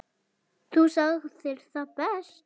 Þú sagðir það best.